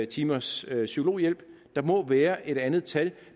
timers psykologhjælp der må være et andet tal